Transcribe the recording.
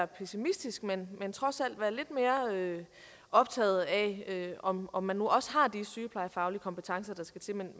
pessimistisk men trods alt være lidt mere optaget af om om man nu også har de sygeplejefaglige kompetencer der skal til men